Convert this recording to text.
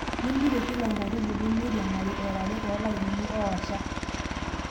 Nimpirie Kila enkaitubului meiriamari era are toolainini oooaasha.